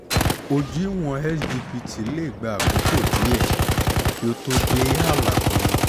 ojú ìwọ̀n sgpt lè gba àkókò díẹ̀ kí ó tó dé ààlà tó yẹ